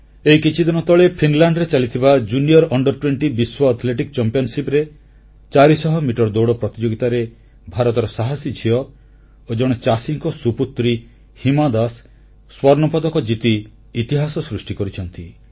ଏଇ କିଛିଦିନ ତଳେ ଫିନଲାଣ୍ଡରେ ଚାଲିଥିବା ଜୁନିଅର ଅଣ୍ଡର20 ବିଶ୍ୱ ଆଥଲେଟିକ୍ ଚମ୍ପିଆନସିପ୍ ର 400 ମିଟର ଦୌଡ଼ ପ୍ରତିଯୋଗିତାରେ ଭାରତର ସାହସୀ ଝିଅ ଓ ଜଣେ ଚାଷୀଙ୍କ ସୁପୁତ୍ରୀ ହିମା ଦାସ ସ୍ୱର୍ଣ୍ଣପଦକ ଜିତି ଇତିହାସ ସୃଷ୍ଟି କରିଛନ୍ତି